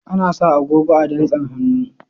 Ana sa agogo a dantsin hannu.